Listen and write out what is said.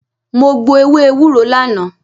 Mo gbo ewé ewúro lánàá.